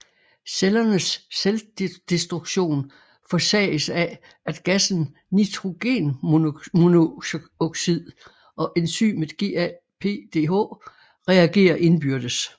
Cellernes selvdestruktion forsages af at gassen nitrogenmonoxid og enzymet GAPDH reagerer indbyrdes